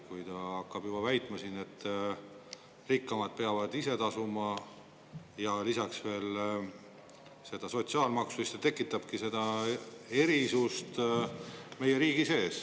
Kui ta hakkab juba väitma siin, et rikkamad peavad ise tasuma ja lisaks veel seda sotsiaalmaksu, siis ta tekitabki seda erisust meie riigi sees.